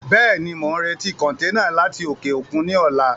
Bẹ́ẹ̀ni, mo ń retí kọntẹ́ẹ́nà láti òkè òkun ni ọ̀la.